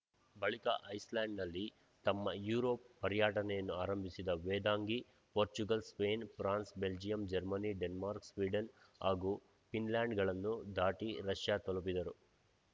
ಬಳಿಕ ಐಸ್‌ಲ್ಯಾಂಡ್‌ನಲ್ಲಿ ತಮ್ಮ ಯುರೋಪ್‌ ಪರ್ಯಟನೆಯನ್ನು ಆರಂಭಿಸಿದ Vedangi Portugal Spain France Belgium Germany Denmark Sweden ಹಾಗೂ ಫಿನ್‌ಲ್ಯಾಂಡ್‌ಗಳನ್ನು ದಾಟಿ ರಷ್ಯಾ ತಲುಪಿದರು